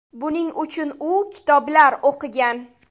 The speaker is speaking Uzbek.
Buning uchun u kitoblar o‘qigan.